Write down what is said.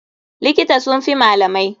Likita sun fi malamai.